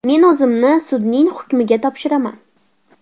Men o‘zimni sudning hukmiga topshiraman.